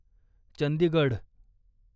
Chandigarh